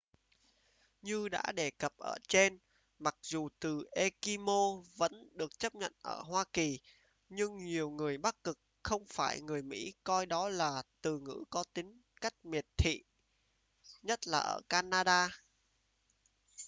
như đã đề cập ở trên mặc dù từ eskimo vẫn được chấp nhận ở hoa kỳ nhưng nhiều người bắc cực không phải người mỹ coi đó là từ ngữ có tính cách miệt thị nhất là ở canada